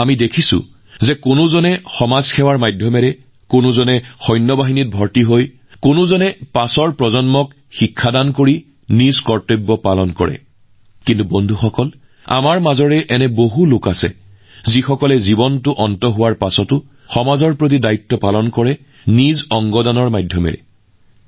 আমি দেখিছোঁ যে কিছুমান মানুহে সমাজসেৱাৰ জৰিয়তে নিজৰ কৰ্তব্য পালন কৰে কোনোবাই সেনাবাহিনীত যোগদান কৰি কোনোবাই পৰৱৰ্তী প্ৰজন্মক পঢ়ুৱাই কিন্তু বন্ধু আমাৰ মাজত এনে কিছুমান মানুহ আছে যিয়ে জীৱনৰ শেষৰ পিছতো তেওঁলোকে সমাজৰ প্ৰতি নিজৰ দায়িত্ব পালন কৰে আৰু ইয়াৰ বাবে তেওঁলোকৰ মাধ্যম হৈছে অংগদান